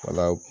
Wala